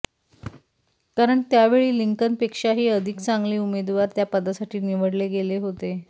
कारण त्यावेळी लिंकन पेक्षाही अधिक चांगले उमेदवार त्या पदासाठी निवडले गेले होते